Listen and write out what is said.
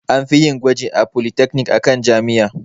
An fiyin gwaji a polytechnic akan jami'a